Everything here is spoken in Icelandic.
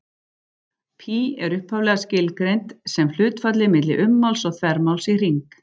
Pí er upphaflega skilgreint sem hlutfallið milli ummáls og þvermáls í hring.